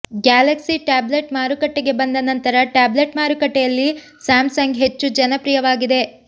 Galaxy tablet ಮಾರುಕಟ್ಟೆಗೆ ಬಂದ ನಂತರ ಟ್ಯಾಬ್ಲೆಟ್ ಮಾರುಕಟ್ಟೆಯಲ್ಲಿ ಸ್ಯಾಮ್ ಸಂಗ್ ಹೆಚ್ಚು ಜನಪ್ರಿಯವಾಗಿದೆ